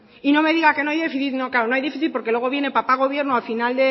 y no me diga que no hay déficit claro no hay déficit porque luego viene papá gobierno al final